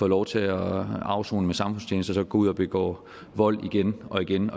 lov til at afsone med samfundstjeneste og så går ud og begår vold igen og igen